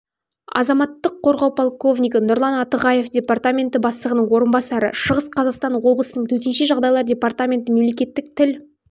азаматтық қорғау полковнигі нұрлан атығаев департаменті бастығының орынбасары шығыс қазақстан облысының төтенше жағдайлар департаменті мемлекеттік тіл